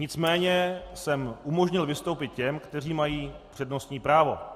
Nicméně jsem umožnil vystoupit těm, kteří mají přednostní právo.